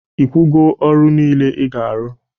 Ikwugo ọrụ nile ị ga-arụ?